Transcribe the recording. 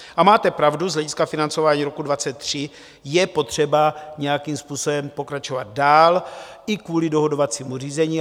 A máte pravdu, z hlediska financování roku 2023 je potřeba nějakým způsobem pokračovat dál i kvůli dohodovacímu řízení.